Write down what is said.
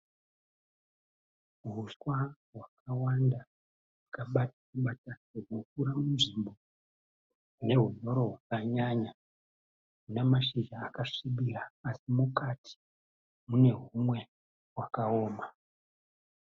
Huswa hwakawanda hurikukura munzvimbo ine hunyoro hwakanyanya huna mashizha akasvibira asi mukati mune humwe hwakaoma.